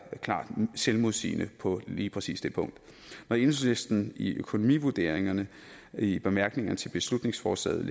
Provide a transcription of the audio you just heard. klart selvmodsigende på lige præcis det punkt når enhedslisten i økonomivurderingerne i bemærkningerne til beslutningsforslaget